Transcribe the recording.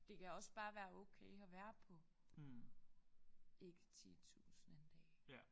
Det kan også bare være okay at være på ikke 10000 en dag